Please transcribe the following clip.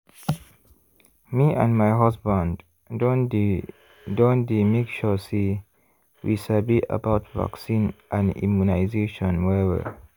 me and my husband don dey don dey make sure say we sabi about vaccine and immunization well-well.